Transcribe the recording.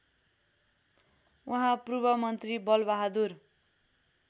उहाँ पूर्वमन्त्री बलबहादुर